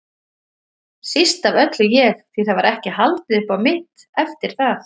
Síst af öllu ég, því það var ekki haldið upp á mitt eftir að